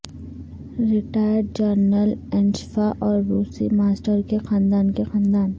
retired general اینشفا اور روسی ماسٹر کے خاندان کے خاندان